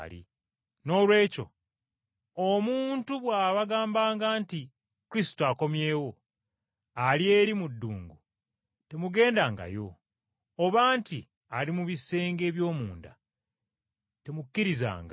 “Noolwekyo omuntu bw’abagambanga nti Kristo akomyewo ali eri mu ddungu, temugendangayo. Oba nti ali mu bisenge eby’omunda, temukkirizanga.